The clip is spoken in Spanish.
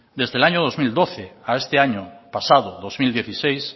desde el año dos mil doce a este año pasado dos mil dieciséis